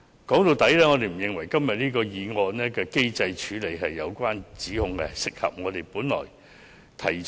說到底，我們不認為議案對機制處理的相關指控合理。